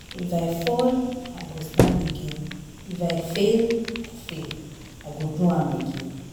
If I fall, I go stand again. If I fail, I fail, I go do am again.